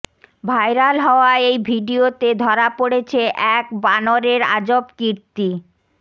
viral হওয়া এই ভিডিওতে ধরা পড়েছে এক বানরের আজব কীর্তি